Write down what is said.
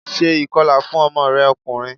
Ṣé ìkọla fún ọmọ rẹ ọkùnrin!